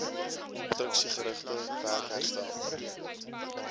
konstruksiegerigte werk herstel